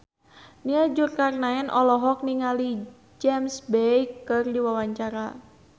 Nia Zulkarnaen olohok ningali James Bay keur diwawancara